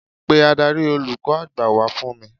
Pe Ádárì olùkọ́ àgbà wá fún mi.